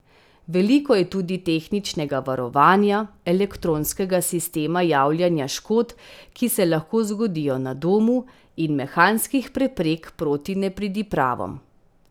Veliko je tudi tehničnega varovanja, elektronskega sistema javljanja škod, ki se lahko zgodijo na domu, in mehanskih preprek proti nepridipravom.